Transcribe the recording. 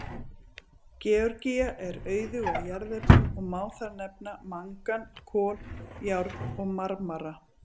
Georgía er auðug af jarðefnum og má þar nefna mangan, kol, járn og marmara.